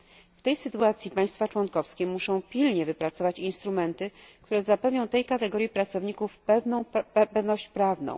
W tej sytuacji państwa członkowskie muszą pilnie wypracować instrumenty, które zapewnią tej kategorii pracowników pewność prawa.